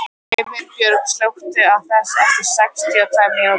Himinbjörg, slökktu á þessu eftir sextíu og tvær mínútur.